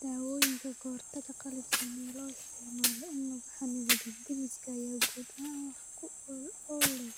Dawooyinka ka hortagga qallafsan ee loo isticmaalo in lagu xannibo dab-demiska ayaa guud ahaan wax ku ool u leh